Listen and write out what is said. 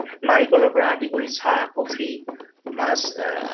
নাৰিকলৰ পৰা আদি কৰি চাহ coffee মাছ আ আ